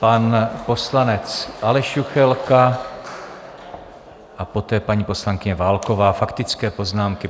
Pan poslanec Aleš Juchelka a poté paní poslankyně Válková, faktické poznámky.